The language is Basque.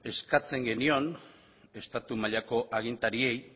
eskatzen genion estatu mailako agintariei